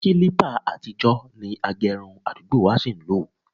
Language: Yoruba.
Kílípà àtijọ́ ni agẹrun àdúgbò wa ṣí ń lò